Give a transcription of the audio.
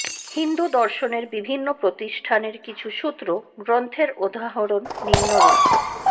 হিন্দু দর্শনের বিভিন্ন প্রতিষ্ঠানের কিছু সূত্র গ্রন্থের উদাহরণ নিম্নরূপঃ